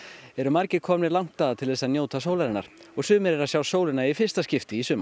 eru margir komnir langt að til að njóta sólarinnar og sumir eru að sjá sólina í fyrsta skipti í sumar